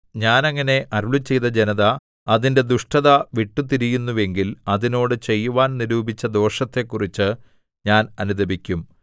ഞാൻ അങ്ങനെ അരുളിച്ചെയ്ത ജനത അതിന്റെ ദുഷ്ടത വിട്ടുതിരിയുന്നുവെങ്കിൽ അതിനോട് ചെയ്യുവാൻ നിരൂപിച്ച ദോഷത്തെക്കുറിച്ചു ഞാൻ അനുതപിക്കും